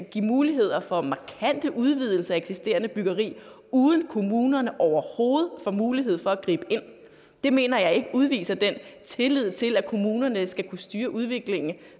give muligheder for markante udvidelser af eksisterende byggeri uden kommunerne overhovedet får mulighed for at gribe ind det mener jeg ikke udviser den tillid til at kommunerne skal kunne styre udviklingen